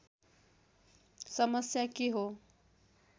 समस्या के हो